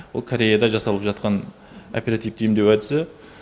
ол кореяда жасалып жатқан оперативті емдеу әдісі